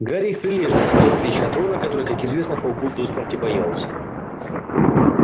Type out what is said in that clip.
гарри их прилежно искал в отличие от рона который как известно пауков до смерти боялся